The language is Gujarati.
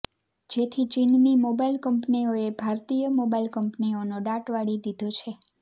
જેથી ચીનની મોબાઇલ કંપનીઓએ ભારતીય મોબાઇલ કંપનીઓનો દાટ વાળી દીધો છે